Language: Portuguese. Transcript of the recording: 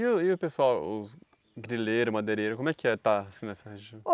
E o e o pessoal, os grileiros, madeireiros, como é que é estar assim nessa região?